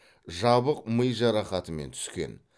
жабық ми жарақатымен түскен